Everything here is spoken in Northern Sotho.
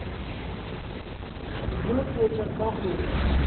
no fetša ka go re